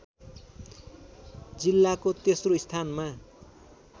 जिल्लाको तेस्रो स्थानमा